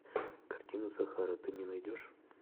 картина сахара ты мне найдешь